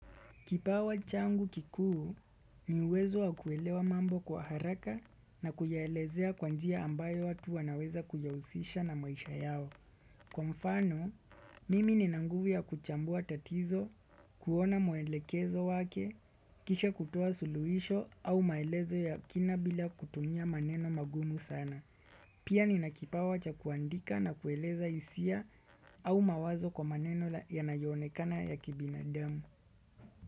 Kipawa changu kikuu ni uwezo wa kuelewa mambo kwa haraka na kuyaelezea kwa njia ambayo watu wanaweza kuyausisha na maisha yao. Kwa mfano, mimi nina nguvu kuchambua tatizo, kuona mwelekezo wake, kisha kutoa suluhisho au maelezo ya kina bila kutumia maneno magumu sana. Pia ni nakipawa cha kuandika na kueleza hisia au mawazo kwa maneno yanayonekana ya kibinadamu.